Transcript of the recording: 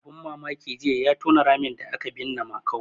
Abun mamaki jiya ya tona ramin da aka binne Makau.